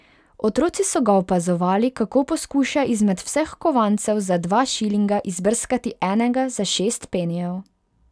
Otroci so ga opazovali, kako poskuša izmed vseh kovancev za dva šilinga izbrskati enega za šest penijev.